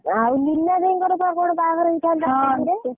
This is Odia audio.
ଆଉ ମଇନା ଦେଇ ଙ୍କର ବାହାଘର ହେଇଥାନ୍ତା ନଅ କଣ ଏବେ।